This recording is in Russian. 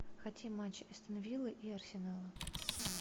хотим матч астон виллы и арсенала